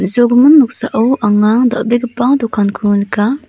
usogimin noksao anga dal·begipa dokanko nika.